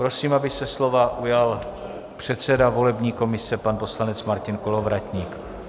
Prosím, aby se slova ujal předseda volební komise pan poslanec Martin Kolovratník.